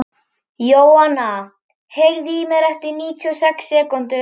Jóanna, heyrðu í mér eftir níutíu og sex mínútur.